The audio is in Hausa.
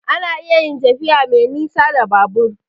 A na iya yin tafiya me nisa da Babur